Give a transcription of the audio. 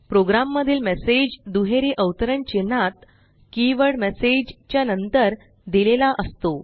programme मधील message दुहेरी अवतरण चिन्हात कीवर्ड मेसेज च्या नंतर दिलेला असतो